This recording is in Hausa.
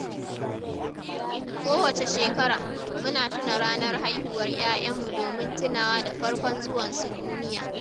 Kowace shekara, muna tuna ranar haihuwar ‘ya’yanmu domin tunawa da farkon zuwansu duniya.